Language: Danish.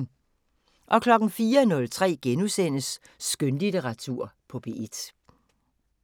04:03: Skønlitteratur på P1 *